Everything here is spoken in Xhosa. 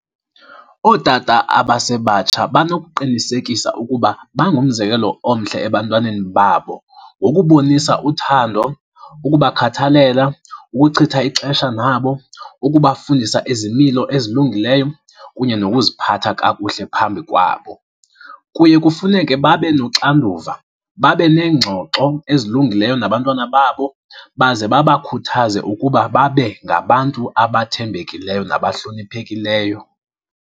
Ootata abasebatsha banokuqinisekisa ukuba bangumzekelo omhle ebantwaneni babo ngokubonisa uthando ukubakhathalela, ukuchitha ixesha nabo, ukubafundisa izimilo ezilungileyo kunye nokuziphatha kakuhle phambi kwabo. Kuye kufuneke babe noxanduva, babe neengxoxo ezilungileyo nabantwana babo baze babakhuthaze ukuba babe ngabantu abathembekileyo nabahloniphekileyo.